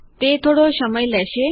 તે થોડો સમય લેશે